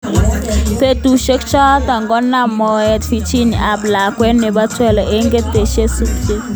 Betusiek choto konam moet Virginia ab lakwet nebo 12, eng kotesetai subset.